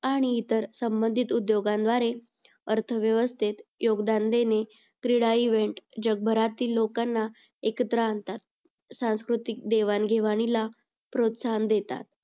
आणि इतर संबंधित उद्योगांदवारे अर्थव्यवस्थेत योगदान देणे क्रीडा event जगभरातील लोकांना एकत्र आणतात. सांस्कृतिक देवाण-घेवाणीला प्रोत्साहन देतात.